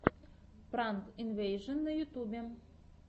пранк инвэйжэн на ютубе